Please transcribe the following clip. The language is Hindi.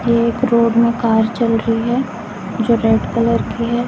एक रोड में कार चल रही है जो रेड कलर की है।